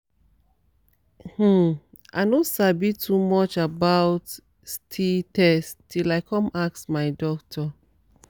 um i no sabi too much about sti test till i come ask my doctor